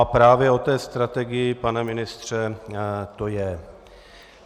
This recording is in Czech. A právě o té strategii, pane ministře, to je!